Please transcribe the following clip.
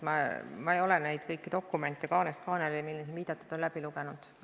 Ma ei ole neid kõiki dokumente, millele siin viidatud on, kaanest kaaneni läbi lugenud.